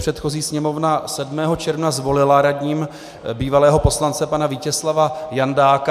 Předchozí Sněmovna 7. června zvolila radním bývalého poslance pana Vítězslava Jandáka.